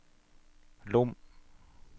Lom